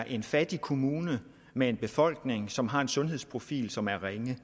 en fattig kommune med en befolkning som har en sundhedsprofil som er ringe